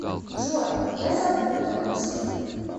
джой я запуталась